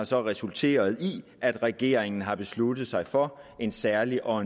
så har resulteret i at regeringen har besluttet sig for en særlig og